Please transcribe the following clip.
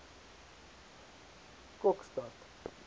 kokstad